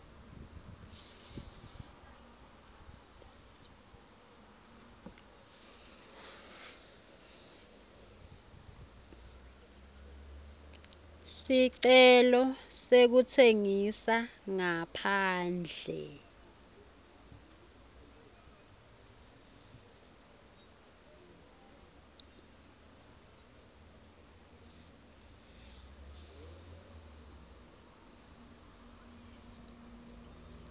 sicelo sekutsengisa ngaphandle